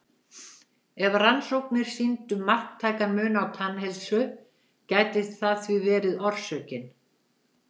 Ef rannsóknir sýndu marktækan mun á tannheilsu gæti það því verið orsökin.